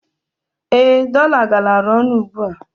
Ee, dọla galara ọnụ ugbua.